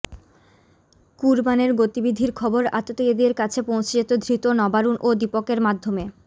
কুরবানের গতিবিধির খবর আততায়ীদের কাছে পৌঁছে যেত ধৃত নবারুণ ও দীপকের মাধ্যমে